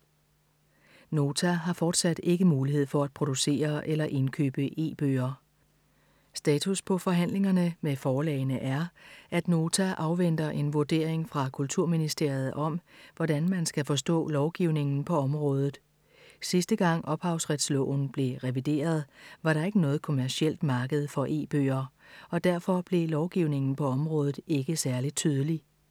Nota har fortsat ikke mulighed for at producere eller indkøbe e-bøger. Status på forhandlingerne med forlagene er, at Nota afventer en vurdering fra Kulturministeriet om, hvordan man skal forstå lovgivningen på området. Sidste gang Ophavsretsloven blev revideret, var der ikke noget kommercielt marked for e-bøger, og derfor blev lovgivningen på området ikke særlig tydelig.